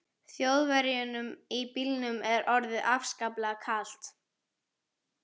Þjóðverjunum í bílnum er orðið afskaplega kalt.